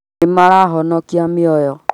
Nĩ marahonokia mĩoyo